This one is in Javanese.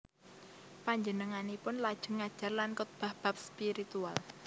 Panjenenganipun lajeng ngajar lan khotbah bab spiritual